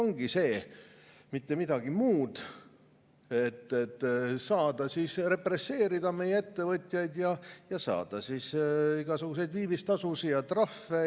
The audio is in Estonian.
Aga ilmselt eesmärk ongi see, mitte midagi muud, et saada represseerida meie ettevõtjaid ja saada igasuguseid viivistasusid ja trahve.